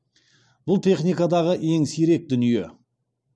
бұл техникадағы ең сирек дүние